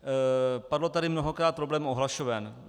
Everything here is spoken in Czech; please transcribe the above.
Padl tady mnohokrát problém ohlašoven.